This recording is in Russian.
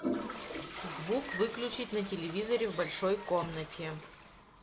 звук выключить на телевизоре в большой комнате